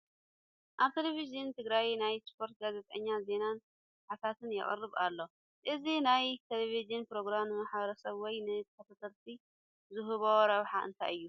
ኣብ ቴለብዥን ትግራይ ናይ ስፖርቲ ጋዜጠኛ ዜናን ሓተታን የቕርብ ኣሎ፡፡ እዚ ናይ ቴለብዥን ፕሮግራም ንማሕበረሰብ ወይ ንተኸታተልቱ ዝህቦ ረብሓ እንታይ እዩ?